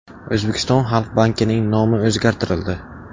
O‘zbekistonda Xalq bankining nomi o‘zgartirildi.